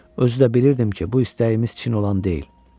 Özü də bilirdim ki, bu istəyimiz Çin olan deyil.